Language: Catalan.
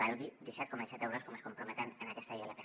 valgui disset coma set euros com ens hi comprometem en aquesta ilp